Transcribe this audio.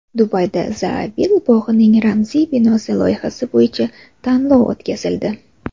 Dubayda Zaabil bog‘ining ramziy binosi loyihasi bo‘yicha tanlov o‘tkazildi.